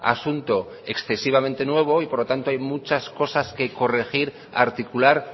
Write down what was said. asunto excesivamente nuevo y por lo tanto hay muchas cosas que corregir articular